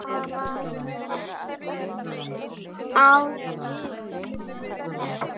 Á góðri íslensku virkar lettneska liði hundleiðinlegt og vill hægja á leiknum.